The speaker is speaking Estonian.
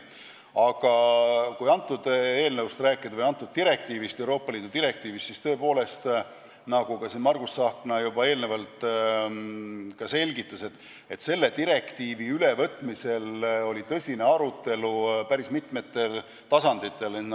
Aga kui sellest eelnõust ja sellest Euroopa Liidu direktiivist rääkida, siis nagu Margus Tsahkna juba selgitas, selle direktiivi ülevõtmisel oli tõsine arutelu päris mitmel tasandil.